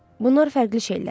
Bunlar fərqli şeylərdir.